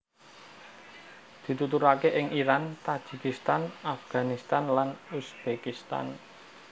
Dituturaké ing Iran Tajikistan Afganistan lan Uzbekistan